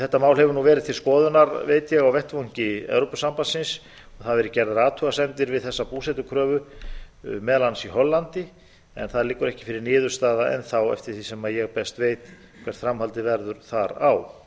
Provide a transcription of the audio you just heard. þetta mál hefur verið til skoðunar veit ég á vettvangi evrópusambandsins og það hafa verið gerðar athugasemdir við þessa búsetukröfu meðal annars í hollandi en það liggur ekki fyrir niðurstaða enn þá eftir því sem ég best veit hvert framhaldið verður þar á